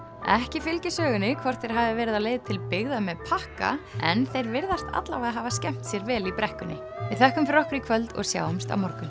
ekki fylgir sögunni hvort þeir hafi verið á leið til byggða með pakka en þeir virðast hafa skemmt sér vel í brekkunni við þökkum fyrir okkur í kvöld og sjáumst á morgun